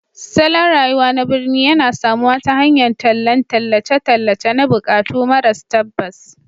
Salon rayuwa na birni yana samuwa ta hanyar tallan tallace-tallace na buƙatu maras tabbas